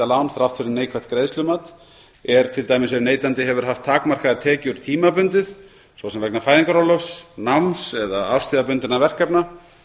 lán þrátt fyrir neikvætt greiðslumat er ef neytandi hefur haft takmarkaðar tekjur tímabundið svo sem vegna fæðingarorlofs náms eða árstíðabundinna verkefna